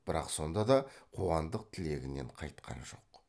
бірақ сонда да қуандық тілегінен қайтқан жоқ